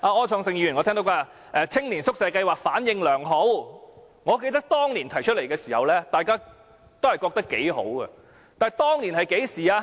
柯創盛議員剛才說，青年宿舍計劃反應良好，我記得當年提出這計劃時，大家都覺得頗好，但當年是甚麼時候呢？